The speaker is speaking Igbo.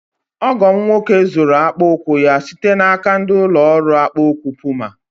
Ọgọ m nwoke zụụrụ akpa ụkwụ ya site n'aka ndị ụlọ ọrụ akpa ụkwụ Puma.